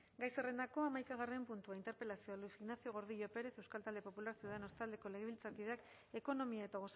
gai zerrendako hamaikagarren puntua interpelazioa luis ignacio gordillo pérez euskal talde popular ciudadanos taldeko legebiltzarkideak ekonomia eta